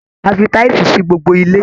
A fi tísìì sí gbogbo ilé.